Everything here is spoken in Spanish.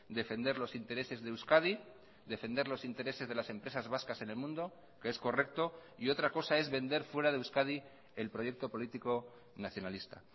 defender los intereses de euskadi defender los intereses de las empresas vascas en el mundo que es correcto y otra cosa es vender fuera de euskadi el proyecto político nacionalista